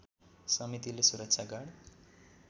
समितिले सुरक्षा गार्ड